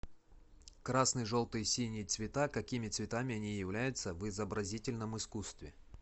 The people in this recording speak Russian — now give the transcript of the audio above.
красный желтый синий цвета какими цветами они являются в изобразительном искусстве